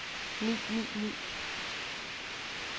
ni ni ni